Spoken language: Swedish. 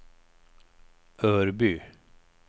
Örby